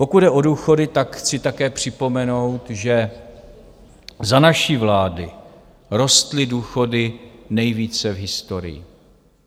Pokud jde o důchody, tak chci také připomenout, že za naší vlády rostly důchody nejvíce v historii.